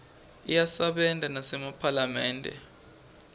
iyasebenta nasemaphalamende